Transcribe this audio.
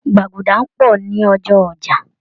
Gbàgúdá ń pọ̀ ni ọjọ́ ọjà